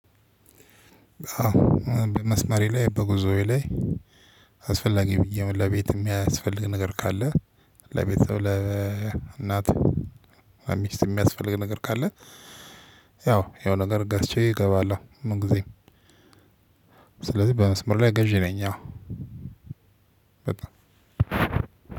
በመስመሬ ላይ በጉዞዬ ላይ አስፈላጊ ያም ለቤትም የሚያስፈልግ ነገር ካለ ለቤተሰብ ለእናት ለሚስት የሚያስፈልግ ነገር ካለ ያው የሆነ ነገር ገዝቼ እገባለሁ ምን ግዜም። ስለዚህ በመስመር ላይ ገዢ ነኝ። አዎ በጣም